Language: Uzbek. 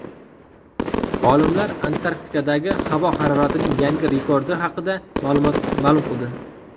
Olimlar Antarktidadagi havo haroratining yangi rekordi haqida ma’lum qildi.